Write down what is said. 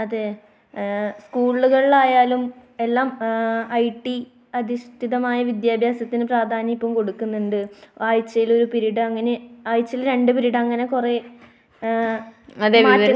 അതെ. സ്കൂളുകളിലായാലും എല്ലാം ഐടി അധിഷ്ഠിതമായ വിദ്യാഭ്യാസത്തിന് പ്രധാന്യം ഇപ്പോൾ കൊടുക്കുന്നുണ്ട്. ആഴ്ചയിൽ ഒരു പിരീഡ്, ആഴ്ചയിൽ രണ്ടു പിരീഡ്‌ അങ്ങനെ എഹ്